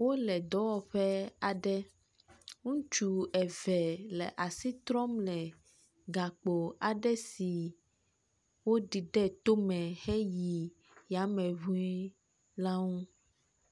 Wole dɔwɔƒe aɖe. Ŋutsu eve le asi trɔm le gakpo aɖe si woɖi ɖe tome heyi yame ŋuii la ŋu.